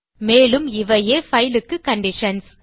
மேலும் இவையே பைல் க்கு கண்டிஷன்ஸ்